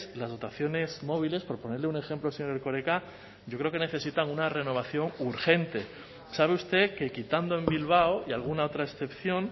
las dotaciones móviles por ponerle un ejemplo señor erkoreka yo creo que necesitan una renovación urgente sabe usted que quitando en bilbao y alguna otra excepción